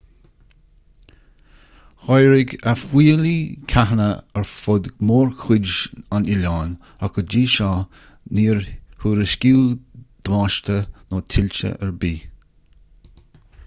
tháirg a fuílligh ceathanna ar fud mórchuid an oileáin ach go dtí seo níor thuairiscíodh damáiste nó tuilte ar bith